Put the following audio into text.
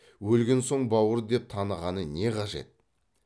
өлген соң бауыр деп танығаны не қажет